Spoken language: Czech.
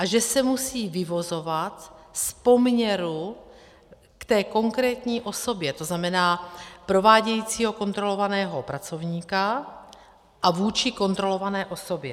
A že se musí vyvozovat z poměru k té konkrétní osobě, to znamená provádějícího kontrolovaného pracovníka a vůči kontrolované osobě.